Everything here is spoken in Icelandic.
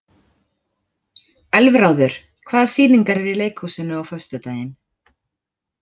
Elfráður, hvaða sýningar eru í leikhúsinu á föstudaginn?